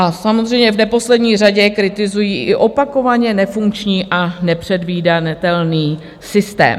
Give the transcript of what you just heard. A samozřejmě v neposlední řadě kritizují i opakovaně nefunkční a nepředvídatelný systém.